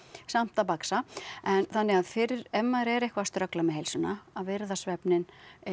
samt að baksa en þannig að fyrir ef maður er eitthvað að ströggla með heilsuna að virða svefninn